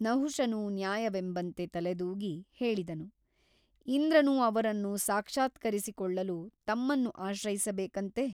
ನಹುಷನು ನ್ಯಾಯವೆಂಬಂತೆ ತಲೆದೂಗಿ ಹೇಳಿದನು ಇಂದ್ರನು ಅವರನ್ನು ಸಾಕ್ಷಾತ್ಕರಿಸಿಕೊಳ್ಳಲು ತಮ್ಮನ್ನು ಆಶ್ರಯಿಸಬೇಕಂತೆ?